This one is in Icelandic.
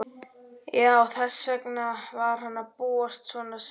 Já, þess vegna var hann búinn svona seint.